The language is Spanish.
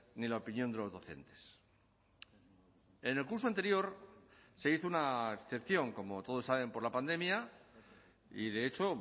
ni la opinión de los docentes en el curso anterior se hizo una excepción como todos saben por la pandemia y de hecho